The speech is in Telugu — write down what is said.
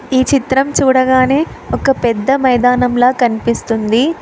ఈ చిత్రం చూడగానే ఒక పెద్ద మైదానంలా కనిపిస్తుంది.